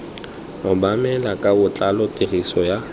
obamelwa ka botlalo tiriso ya